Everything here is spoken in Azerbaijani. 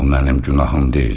Bu mənim günahım deyil.